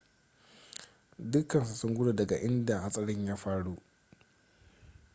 dukansu sun gudu daga inda hatsarin ya faru